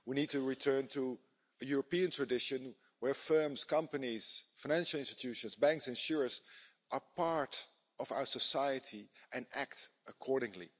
We need to return to the European tradition where firms, companies, financial institutions, banks and insurers are part of our society and act accordingly.